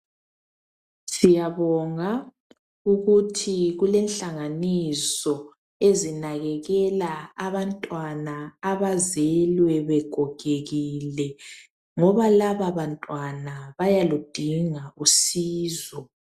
Siyabonga ukuthi kulenhlanganiso ezinakekela abantwana abazelwe begogekile ngobalababantwana bayaludinga usizo.